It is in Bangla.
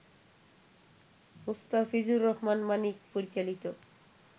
মুস্তাফিজুর রহমান মানিক পরিচালিত